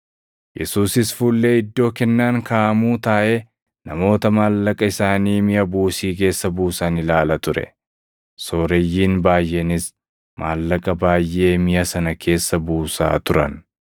Yesuusis fuullee iddoo kennaan kaaʼamuu taaʼee namoota maallaqa isaanii miʼa buusii keessa buusan ilaala ture. Sooreyyiin baayʼeenis maallaqa baayʼee miʼa sana keessa buusaa turan.